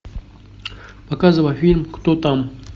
показывай фильм кто там